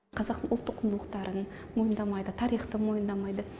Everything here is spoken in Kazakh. қазақтың ұлттық құндылықтарын мойындамайды тарихты мойындамайды